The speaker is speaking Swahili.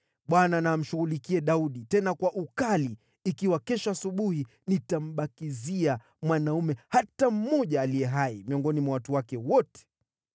Bwana na amshughulikie Daudi, tena kwa ukali, ikiwa kesho asubuhi nitambakizia mwanaume hata mmoja aliye hai miongoni mwa watu wake wote!”